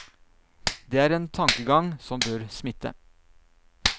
Det er en tankegang som bør smitte.